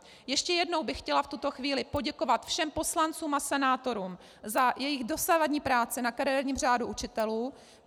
Ještě jednou bych chtěla v tuto chvíli poděkovat všem poslancům a senátorům za jejich dosavadní práci na kariérním řádu učitelů.